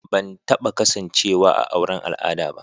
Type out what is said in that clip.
Ban taba kasancewa a auren al'ada ba.